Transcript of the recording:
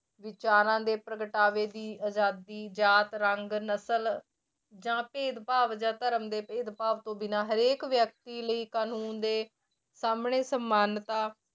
ਵਿਚਾਰਾਂ ਦੇ ਪ੍ਰਗਟਾਵੇ ਦੀ ਆਜ਼ਾਦੀ ਜਾਤ ਰੰਗ ਨਸ਼ਲ ਜਾਂ ਭੇਦ ਭਾਵ ਜਾਂ ਧਰਮ ਦੇ ਭੇਦ ਭਾਵ ਤੋਂ ਬਿਨਾਂ ਹਰੇਕ ਵਿਅਕਤੀ ਲਈ ਕਾਨੂੰਨ ਦੇ ਸਾਹਮਣੇ ਸਨਮਾਨਤਾ